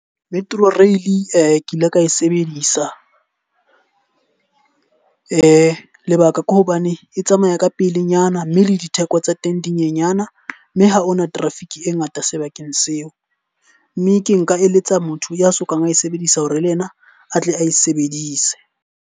Metro Rail ke ile ka e sebedisa. Lebaka ke hobane e tsamaya ka pelenyana mme le ditheko tsa teng di nyenyana. Mme ha hona traffic e ngata sebakeng seo. Mme ke nka eletsa motho ya sokang a e sebedisa hore le yena a tle a e sebedise.